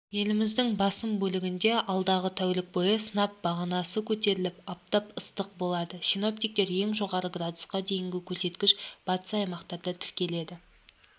еліміздің басым бөлігінде алдағы тәулік бойы сынап бағанасы көтеріліп аптап ыстық болады синоптиктер ең жоғарғы градусқа дейінгі көрсеткіш батыс аймақтарда тіркеледі